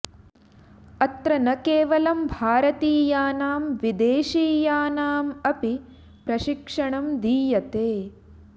अत्र न केवलं भारतीयानां विदेशीयानाम् अपि प्रशिक्षणं दीयते